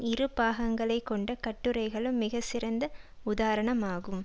இரு பாகங்களைக் கொண்ட கட்டுரைகளும் மிக சிறந்த உதாரணமாகும்